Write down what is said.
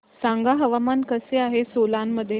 सांगा हवामान कसे आहे सोलान मध्ये